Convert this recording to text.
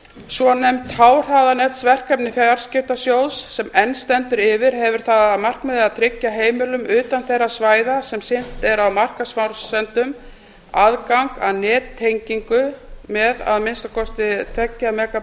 svonefnt háhraðanetsverkefni fjarskiptasjóðs sem enn stendur yfir hefur það að markmiði að tryggja heimilum utan þeirra svæða sem sinnt er á markaðsforsendum aðgang að nettengingu með að minnsta kosti